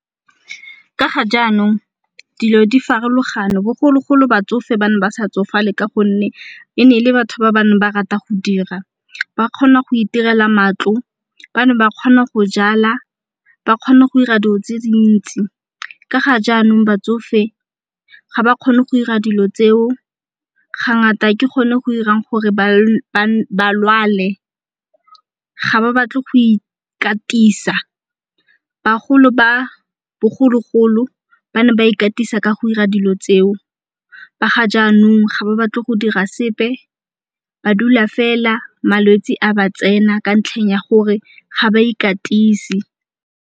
Ka ga jaanong dilo di farologane, bogologolo batsofe ba ne ba sa tsofale ka gonne e ne ele batho ba bane ba rata go dira. Ba kgona go itirela matlo, ba ne ba kgona go jala, ba kgona go 'ira dilo tse dintsi. Ka ga jaanong batsofe ga ba kgone go 'ira dilo tseo ga ngata ke go ne go 'irang gore ba lwale. Ga ba batle go ikatisa, bagolo ba bogologolo ba ne ba ikatisa ka go 'ira dilo tseo. Ba ga jaanong ga ba batle go dira sepe, ba dula fela malwetse a ba tsena ka ntlheng ya gore ga ba ikatise.